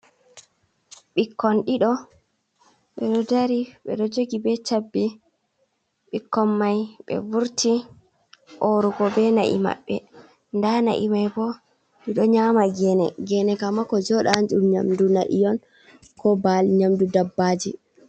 Ɓikkon ɗiɗo ɓeɗo dari ɓeɗo jogi be chabbi ɓikkon mai ɓeɗo vurti orugo be na'i maɓɓe da na'i mai bo ɗiɗo nyama gene; gene ka ma ko joɗa ɗum nyamdu na'i on ko baali, nyamdu dabbaji.